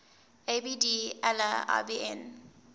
abd allah ibn